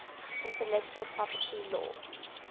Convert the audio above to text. intellectual property law